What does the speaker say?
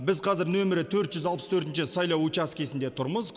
біз қазір нөмірі төрт жүз алпыс төртінші сайлау учаскесінде тұрмыз